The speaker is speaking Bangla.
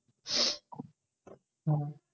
হম